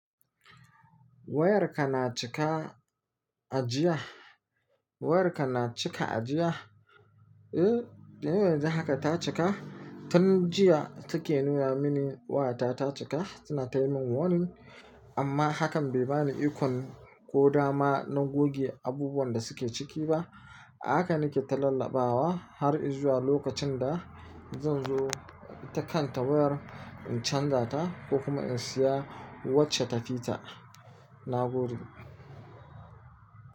Wayarka na cika a jiya. Wayarka na cika a jiya. Eh, dai mai ji haka ta cika. Tun jiya take nuna mini wayata ta cika, tana tayi min warning. Amma hakan bai bani ikon ko dama na goge abubuwan da suke ciki ba. Haka nake ta lallabawa har izuwa lokacin da zan zo ta kanta wayar in canza ta ko kuma in siya wacce ta fita. Na gode.